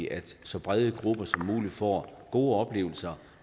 at så brede grupper som muligt får gode oplevelser